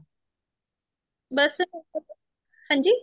ਬੱਸ ਹਾਂਜੀ